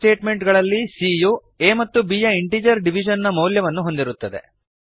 ಈ ಸ್ಟೇಟ್ಮೆಂಟ್ ಗಳಲ್ಲಿ c ಯು a ಮತ್ತು b ಯ ಇಂಟಿಜರ್ ಡಿವಿಷನ್ ನ ಮೌಲ್ಯವನ್ನು ಹೊಂದಿರುತ್ತದೆ